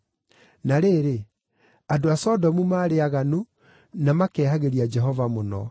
Na rĩrĩ, andũ a Sodomu maarĩ aaganu, na makehagĩria Jehova mũno.